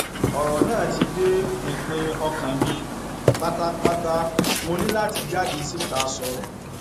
ọrọ náà ti dé pinpin ọkàn mi pátápátámọ ní láti jáde síta sọrọ